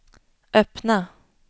öppna